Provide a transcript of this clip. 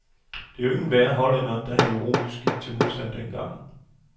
Det var jo ikke enhver hollænder, der heroisk gik til modstand dengang.